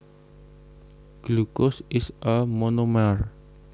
Glucose is a monomer